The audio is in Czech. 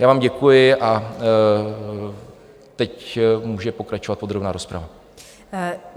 Já vám děkuji a teď může pokračovat podrobná rozprava.